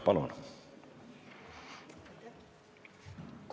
Palun!